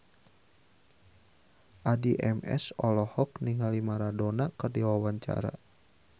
Addie MS olohok ningali Maradona keur diwawancara